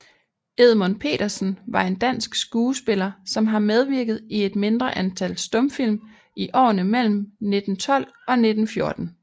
Edmund Petersen var en dansk skuespiller som har medvirket i et mindre antal stumfilm i årene mellem 1912 og 1914